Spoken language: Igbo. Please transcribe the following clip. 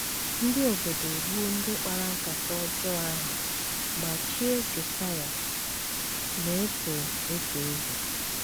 Ndị obodo egbuo ndị kpara nkata ọjọọ ahụ ma chie Josaịa na - eto eto eze.